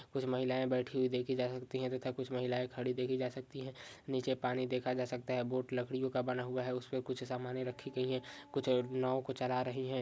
कुछ महिलाए बैठी हुई देखी जा सकती है तथा कुछ महिलाए खड़ी हुई देखी जा सकती है नीचे पानी देखा जा सकता है बोट लकड़ीयों का बना हुआ है उसपे कुछ सामाने रखी गई है कुछ नाव को चला रही है।